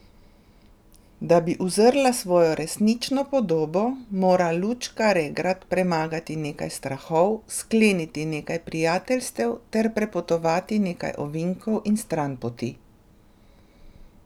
Da bi uzrla svojo resnično podobo, mora Lučka Regrat premagati nekaj strahov, skleniti nekaj prijateljstev ter prepotovati nekaj ovinkov in stranpoti.